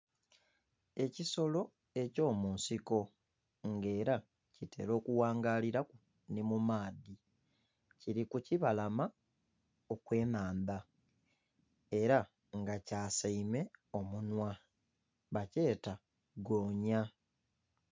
Ekisolo eky'omunsiko nga era kitera okughangaliraku ni mu maadhi kiri ku kibalama okw'ennhandha era nga kyasaime omunhwa bakyeta goonya.